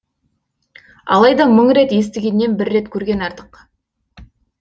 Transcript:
алайда мың рет естігеннен бір рет көрген артық